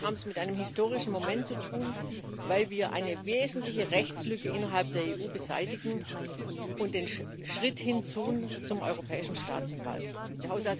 Wir haben es mit einem historischen Moment zu tun, weil wir eine wesentliche Rechtslücke innerhalb der EU beseitigen und den Schritt hin zum Europäischen Staatsanwalt tun.